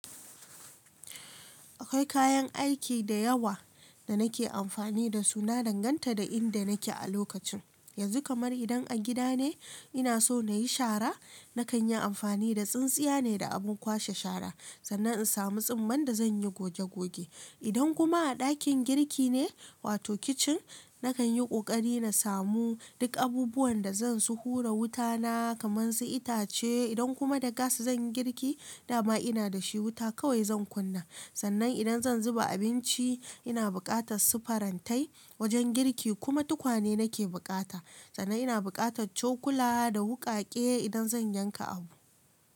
Akwai kayan aiki da yawa da nake amfani da su. Na danganta da inda nake a lokacin. Yanzu kamar idan a gida ne ina so na yi shara, na kan yi amfani da tsintsiya ne da abin kwashe shara sannan in samu tsumman da zan yi goge goge. Idan kuma a ɗakin girki ne wato kicin, na kan yi ƙoƙari na samu duk abubuwan da zan su hura wuta na kaman su itace. Idan kuma da gas zan yi girki, dama ina da shi wuta kawai zan kunna. Sannan idan zan zuba abinci ina buƙatan su farantai wajen girki kuma tukwane nake buƙata. Sannan ina buƙatar cokula da wuƙaƙe idan zan yanka abu.